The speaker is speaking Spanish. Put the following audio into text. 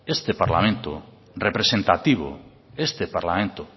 este parlamento representativo este parlamento